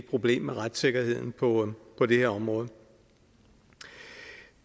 problem med retssikkerheden på på det her område